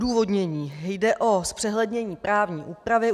Odůvodnění: Jde o zpřehlednění právní úpravy.